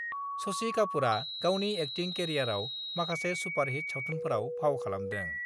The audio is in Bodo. शशि कापुरआ गावनि एक्टिं केरियारआव माखासे सुपारहिट सावथुनफोराव फाव खालामदों।